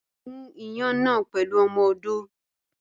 Gún iyán náà pẹ̀lú ọmọ odó.